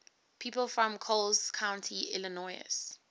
people from coles county illinois